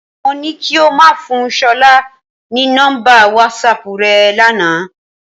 Mo ní kí o máa fún Ṣọlá ní nọ́mbà wásaàpù rẹ lánàá.